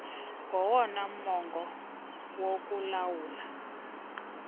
ngowona mongo wokulawula